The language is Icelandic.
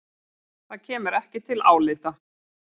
Það kemur ekki til álita.